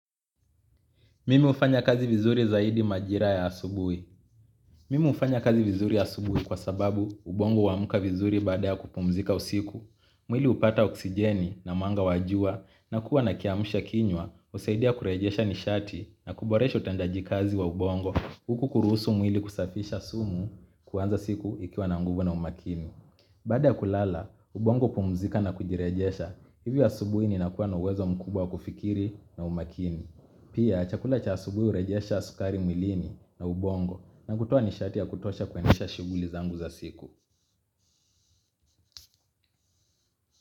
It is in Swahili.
Mimi hufanya kazi vizuri zaidi majira ya asubuhi. Mimi hufanya kazi vizuri ya asubuhi kwa sababu ubongo huamuka vizuri baada ya kupumzika usiku. Mwili hupata oksijeni na mwanga wa jua nakuwa nakiamsha kinywa kusaidia kurejesha nishati na kuboresha utendaji kazi wa ubongo kuruhusu mwili kusafisha sumu kuanza siku ikiwa na nguvu na umakini. Baada ya kulala, ubongo pumzika na kujirejesha. Hivyo asubuhi ninakuwa na uwezo mkubwa kufikiri na umakini. Pia chakula cha asubuhi hurejesha sukari mwilini na ubongo na kutoa nishati ya kutosha kuendesha shughuli zangu za siku.